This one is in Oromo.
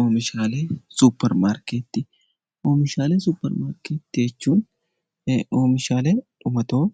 Oomishaalee suupparmaarkeetii jechuun oomishaalee dhumatoo